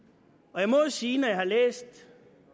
jeg må sige at når jeg har læst i